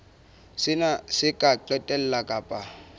sena se ka qetella ka